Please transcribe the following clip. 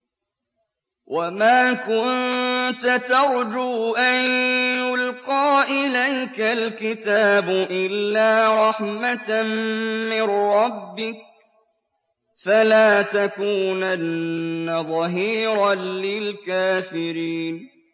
وَمَا كُنتَ تَرْجُو أَن يُلْقَىٰ إِلَيْكَ الْكِتَابُ إِلَّا رَحْمَةً مِّن رَّبِّكَ ۖ فَلَا تَكُونَنَّ ظَهِيرًا لِّلْكَافِرِينَ